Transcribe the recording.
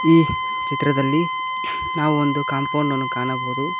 ಈ ಚಿತ್ರದಲ್ಲಿ ನಾವು ಒಂದು ಕಾಂಪೌಂಡ್ ಅನ್ನು ಕಾಣಬಹುದು.